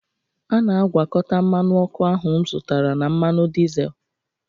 a na-agwakọta mmanụ ọkụ ahụ m zụtara na mmanụ dizel